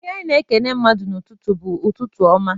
Ihe anyị na-ekene mmadụ n'ụtụtụ bụ, "Ụtụtụ ọma!"